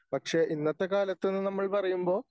പക്ഷേ ഇന്നത്തെ കാലത്ത്ന്ന് നമ്മൾ പറയുമ്പോൾ